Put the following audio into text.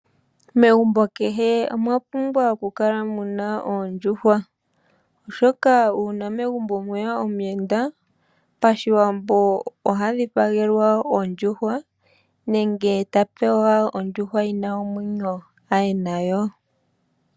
Megumbo kehe omwa pumbwa oku kala muna oondjuhwa, shoka uuna megumbo mweya omu yenda pa shiwambo, oha dhipa gelwa ondjuhwa nenge ta pewa ondjuhwa yina omwenyo aye nayo.